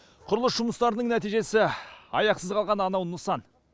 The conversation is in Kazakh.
құрылыс жұмыстарының нәтижесі аяқсыз қалған анау нысан